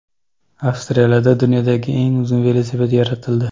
Avstraliyada dunyodagi eng uzun velosiped yaratildi .